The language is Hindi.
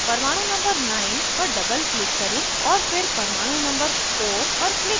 परमाणु number 9 पर doubleclick करें और फिर परमाणु number 4 पर click करें